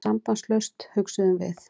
Sambandslaust, hugsuðum við.